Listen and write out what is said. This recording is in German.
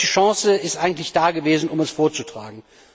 Welche Chance ist eigentlich dagewesen, um das vorzutragen?